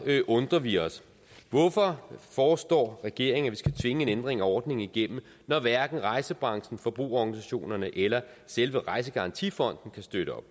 undrer vi os hvorfor foreslår regeringen skal tvinge en ændring af ordningen igennem når hverken rejsebranchen forbrugerorganisationerne eller selve rejsegarantifonden vil støtte op